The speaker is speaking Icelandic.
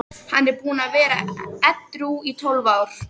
Hann er búinn að vera edrú í tólf ár.